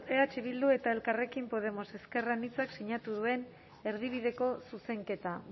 eh bildu eta elkarrekin podemos ezker anitza zinatu duen erdibideko zuzenketa